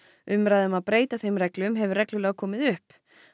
umræða um að breyta þeim reglum hefur reglulega komið upp